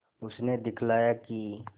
उसने दिखलाया कि